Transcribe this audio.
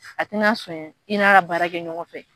A tɛna son i n'a ka baara kɛ ɲɔgɔn fɛ.